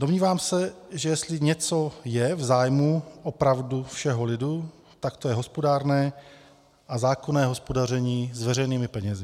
Domnívám se, že jestli něco je v zájmu opravdu všeho lidu, tak to je hospodárné a zákonné hospodaření s veřejnými penězi.